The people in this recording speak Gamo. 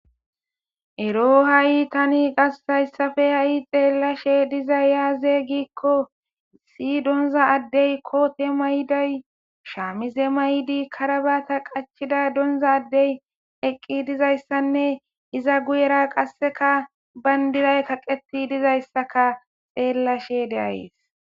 ero ha7i tani gassayssafe ha7i xeellashe dizay yaaze giikko si donza addey koote mayiday shaamize maydi karabata qachida donza addey eqqi dizayssanne iza guyera qasseka bayndiray kaqeti dizayssaka xeellashe deayes